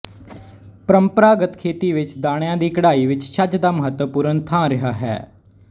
ਪਰੰਪਰਾਗਤ ਖੇਤੀ ਵਿੱਚ ਦਾਣਿਆਂ ਦੀ ਕਢਾਈ ਵਿੱਚ ਛੱਜ ਦਾ ਮਹੱਤਵਪੂਰਨ ਥਾਂ ਰਿਹਾ ਹੈ